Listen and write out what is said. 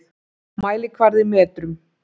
Mælikvarði í metrum.